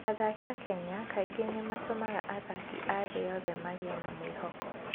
Athaki a Kenya kaingĩ nĩ matũmaga athaki a thĩ yothe magĩe na mwĩhoko.